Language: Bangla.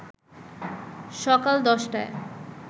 সকাল ১০টায়